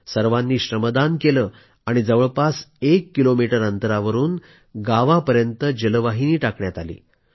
सर्वांनी श्रमदान केलं आणि जवळपास एक किलोमीटर अंतरावरून गावापर्यंत जलवाहिनी टाकण्यात आली